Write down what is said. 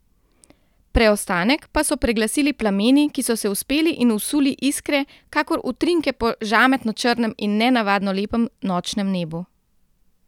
Preostanek pa so preglasili plameni, ki so se vzpeli in vsuli iskre, kakor utrinke po žametno črnem in nenavadno lepem nočnem nebu.